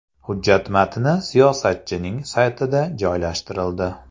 Hujjat matni siyosatchining saytida joylashtirildi.